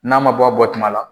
N'a ma bɔ a bɔtuma la